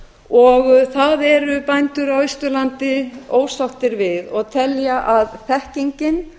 og það eru bændur á austurlandi ósáttir við og telja að þekkingin